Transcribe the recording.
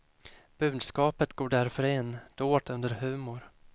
Budskapet går därför in, dolt under humor.